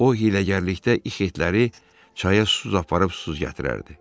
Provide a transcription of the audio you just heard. O hiyləgərlikdə ixetləri çaya su aparıb, su gətirərdi.